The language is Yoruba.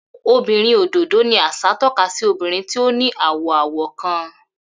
Obinrin ododo ni aṣa tọka si obinrin ti o ni awọ-awọ kan.